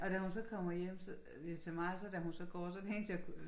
Og da hun så kommer hjem så til mig så det eneste jeg kunne øh